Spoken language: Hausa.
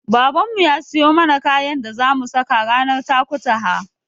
Babanmu ya siyo mana kayan da zamu saka ranar Takutaha.